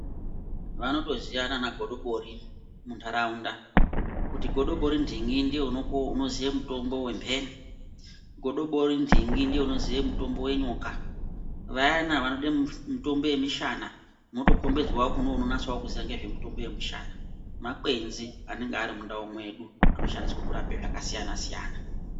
Vanotoziyana vanagodobori munharaunda kuti godobori nhingi ndiye unoziye mutombo wemheni, godobori nhingi ndiye unoziye mutombo wenyoka ,vayani vanoda mitombo yemishana mwotokombedzwawo kuno unonase kuziyawo ngezvemushana, makwenzi anonga ari munharaunda mwedu anoshandiswe kurape zvakasiyanasiyana.